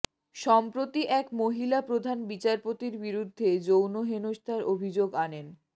সম্প্রতি এক মহিলা প্রধান বিচারপতির বিরুদ্ধে যৌন হেনস্থার অভিযোগ আনেন